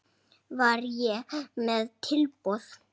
Var ég með tilboð?